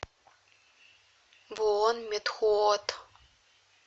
буонметхуот